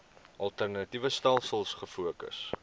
alternatiewe stelsels gefokus